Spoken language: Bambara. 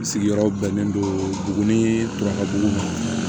Sigiyɔrɔ bɛnnen don buguni tura bugu ma